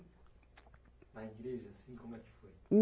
Na igreja, assim, como é que foi?